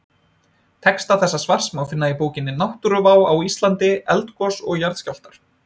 Texta þessa svars má finna í bókinni Náttúruvá á Íslandi: Eldgos og jarðskjálftar.